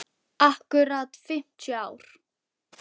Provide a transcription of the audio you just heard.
Akkúrat fimmtíu ár.